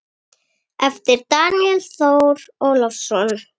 eftir Daníel Þór Ólason